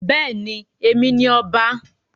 Bẹ́ẹ̀ ni, Èmi ni ọba.